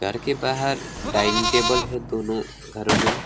घर के बाहर डाइनिंग टेबल है दोनों घरों में।